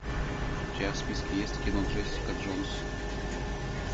у тебя в списке есть кино джессика джонс